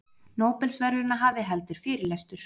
Nóbelsverðlaunahafi heldur fyrirlestur